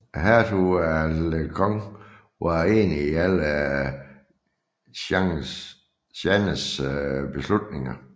Hertugen af Alençon var enig i alle Jeannes beslutninger